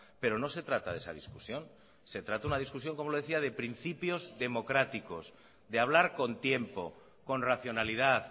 pero no se trata de esa discusión se trata una discusión como le decía de principios democráticos de hablar con tiempo con racionalidad